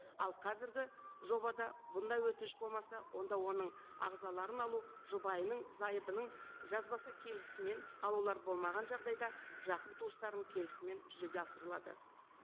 ал қазіргі жобада бұндай өтініш болмаса онда оның ағзаларын алу жұбайының зайыбының жазбаша келісімін алулар болмаған жағдайда жақын туыстарының келісімімен жүзеге асырылады